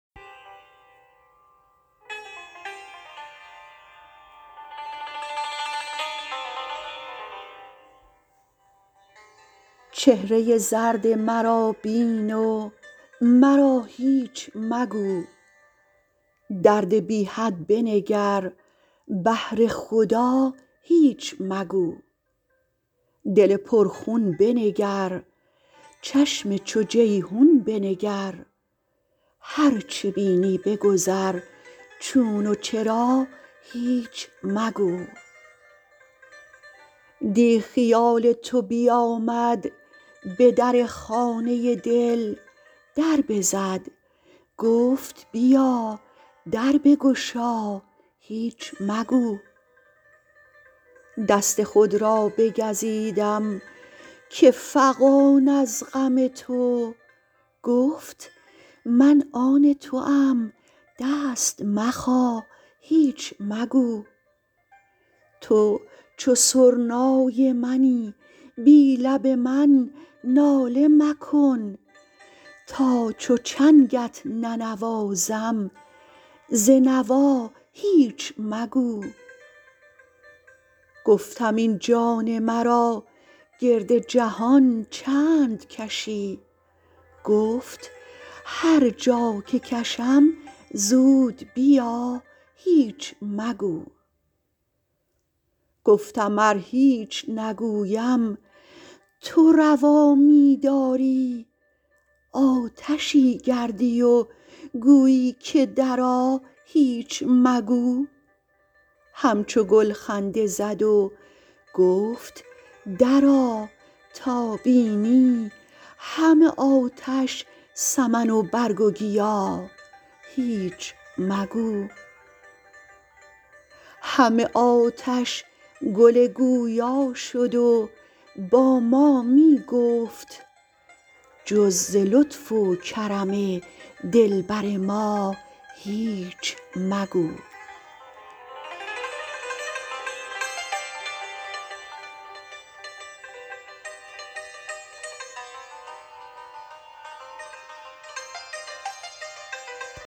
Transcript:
چهره زرد مرا بین و مرا هیچ مگو درد بی حد بنگر بهر خدا هیچ مگو دل پرخون بنگر چشم چو جیحون بنگر هر چه بینی بگذر چون و چرا هیچ مگو دیٖ خیال تو بیامد به در خانه دل در بزد گفت بیا در بگشا هیچ مگو دست خود را بگزیدم که فغان از غم تو گفت من آن توام دست مخا هیچ مگو تو چو سرنای منی بی لب من ناله مکن تا چو چنگت ننوازم ز نوا هیچ مگو گفتم این جان مرا گرد جهان چند کشی گفت هر جا که کشم زود بیا هیچ مگو گفتم ار هیچ نگویم تو روا می داری آتشی گردی و گویی که درآ هیچ مگو همچو گل خنده زد و گفت درآ تا بینی همه آتش سمن و برگ و گیا هیچ مگو همه آتش گل گویا شد و با ما می گفت جز ز لطف و کرم دلبر ما هیچ مگو